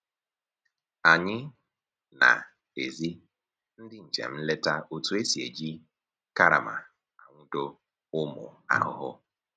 Anyị na-ezi ndị njem nleta otu e si eji karama anwụdo ụmụ ahụhụ